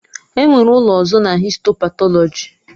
Enwere ụlọ ozu na histo patọlọji.